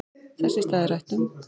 Þess í stað er rætt um